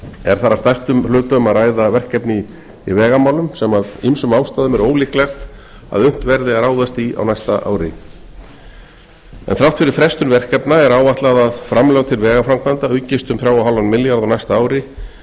er þar að stærstum hluta um að ræða verkefni í vegamálum sem af ýmsum ástæðum er ólíklegt að unnt verði að ráðast í á næsta ári þrátt fyrir frestun verkefna er áætlað að framlög til vegaframkvæmda aukist um þrjú komma fimm milljarða á næsta ári